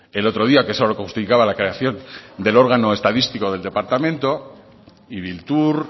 el otro día que solo justificaba la creación del órgano estadístico del departamento ibiltur